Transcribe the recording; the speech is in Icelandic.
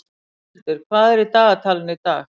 Rúnhildur, hvað er í dagatalinu í dag?